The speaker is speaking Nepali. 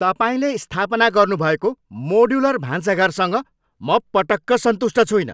तपाईँले स्थापना गर्नुभएको मोड्युलर भान्साघरसँग म पटक्क सन्तुष्ट छुइनँ।